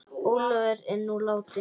Ólafur er nú látinn.